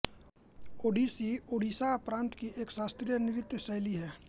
ओड़िसी ओड़िसा प्रान्त की एक शास्त्रीय नृत्य शैली है